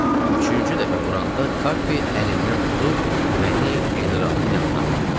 Üçüncü dəfə vuranda Kappi əlimdən tutub məni generalın yanına apardı.